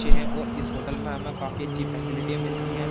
अच्छे है और इस होटल में हमें काफी अच्छी फैसिलिटीया मिलती हैं।